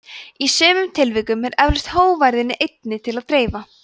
í sumum tilvikum er eflaust hógværðinni einni til að dreifa